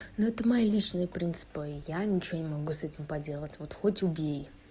ну это моя личная принципы и я ничего не могу с этим поделать вот хоть убей